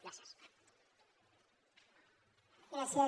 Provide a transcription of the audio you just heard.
gràcies